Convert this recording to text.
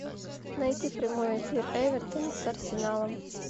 найти прямой эфир эвертона с арсеналом